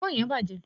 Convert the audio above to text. èfó yen bàjé